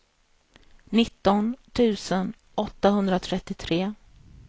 nitton tusen åttahundratrettiotre